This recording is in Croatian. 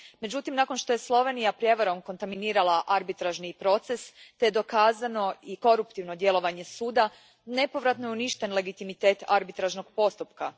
Međutim, nakon što je Slovenija prijevarom kontaminirala arbitražni proces te je dokazano i koruptivno djelovanje Suda, nepovratno je uništen legitimitet arbitražnog postupka.